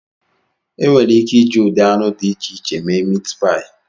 Enwere ike iji ụdị anụ dị iche iche méé míítpááyì